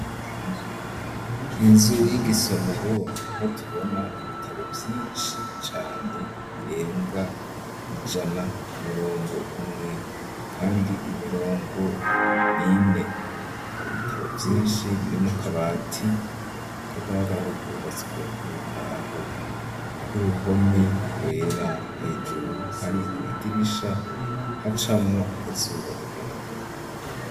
Inzu y'igisomero, niho tubona ibitabo vyinshi cane, birenga ijana kumurongo umwe, kandi imirongo nine ,hari ibitabo vyinshi birimwo akabati kagaragara ko kubatswe n'imbaho, k'uruhome rwera, hejuru hari amadirisha hacamwo akazuba n' umuyaga.